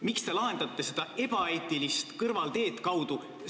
Miks te lahendate seda küsimust kõrvalteed kaudu?